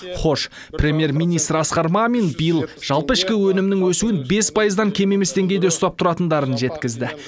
хош премьер министр асқар мамин биыл жалпы ішкі өнімнің өсуін бес пайыздан кем емес деңгейде ұстап тұратындарын жеткізді